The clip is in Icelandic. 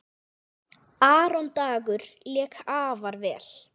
Aron Dagur lék afar vel.